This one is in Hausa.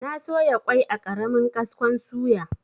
Na soya kwai a ƙaramin kaskon suya.